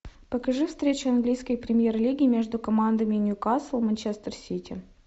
покажи встречу английской премьер лиги между командами ньюкасл манчестер сити